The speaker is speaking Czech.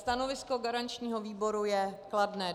Stanovisko garančního výboru je kladné.